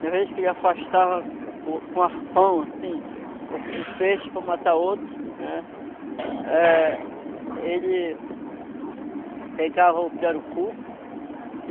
Uma vez que ele afastava o com o arpão assim o um um peixe para matar outro, eh ele pegava o pirarucu.